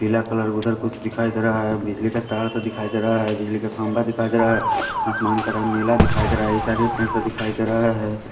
पीला कलर उधर कुछ दिखाई दे रहा है बिजली का तार सा दिखाई दे रहा है बिजली का खंभा दिखाई दे रहा है आसमान का रंग नीला दिखाई दे रहा है ये सारे दिखाई दे रहा है।